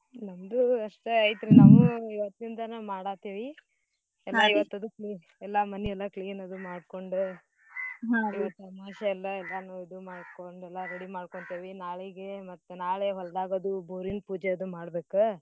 ನಮ್ದು ಅಷ್ಟ ಐತ್ರೀ ನಾವೂ ಇವತ್ತಿಂದನ ಮಾಡಾತೆೇವಿ ಎಲ್ಲಾ ಮನೀ ಎಲ್ಲಾ clean ಅದು ಮಾಡ್ಕೋಂಡ್ ಇವತ್ತ ಅಮ್ವಾಸ್ಸೇ ಅಲ್ಲಾ ಎಲ್ಲಾನೂ ಇದು ಮಾಡ್ಕೊಂಡು ಎಲ್ಲಾ ready ಮಾಡ್ಕೋಂತೀನಿ ನಾಳಿಗೆ ಮತ್ತ್ ನಾಳೇ ಹೊಲ್ದಾಗ ಅದು ಬೋರಿನ್ ಪೂಜೆ ಅದು ಮಾಡ್ಬೇಕ.